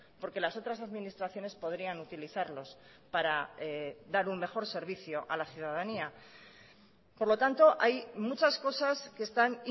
porque las otras administraciones podrían utilizarlos para dar un mejor servicio a la ciudadanía por lo tanto hay muchas cosas que están